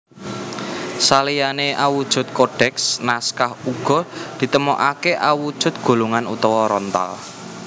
Saliyané awujud kodèks naskah uga ditemokaké awujud gulungan utawa rontal